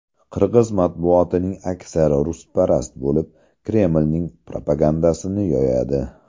Qirg‘iz matbuotining aksari rusparast bo‘lib, Kremlning propagandasini yoyadi.